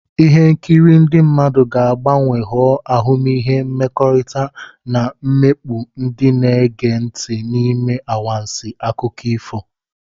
Ihe nkiri ndị mmadụ ga-agbanwe ghọọ ahụmịhe mmekọrịta, na-emikpu ndị na-ege ntị n'ime anwansi akụkọ ifo.